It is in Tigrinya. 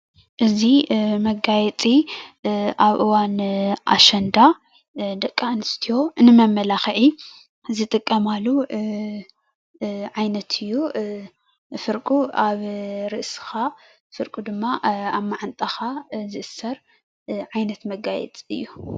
እዚ መጋየፂ ኣብ እዋን ኣሸንዳ ደቂ ኣንስትዮ ንመመላኽዒ ዝጥቀማሉ ዓይነት እዩ፡፡ ፍርቁ ኣብ ርእስኻ ፍርቁ ድማ ኣብ ማዓንጣኻ ዝእሰር ዓይነት መጋየፂ እዩ፡፡